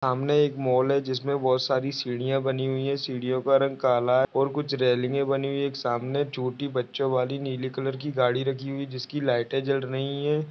सामने एक मॉल है। जिसमे बहुत सारी सिडिया बनी हुए है। सीढ़िया का रंग काला है। और कुछ रेल्वे बनी हुइ है। एक सामने छोटे बच्चो वाली नीले कलर की गाड़ी रखी हुइ है। जिसकी लाइट जल रही है।